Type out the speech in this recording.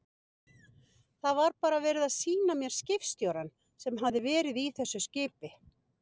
Það var bara verið að sýna mér skipstjórann sem hafði verið í þessu skipi.